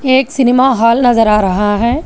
एक cinema hall नजर आ रहा है।